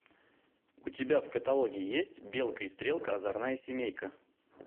у тебя в каталоге есть белка и стрелка озорная семейка